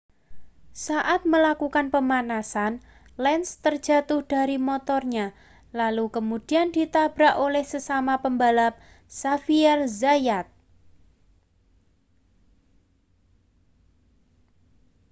saat melakukan pemanasan lenz terjatuh dari motornya lalu kemudian ditabrak oleh sesama pebalap xavier zayat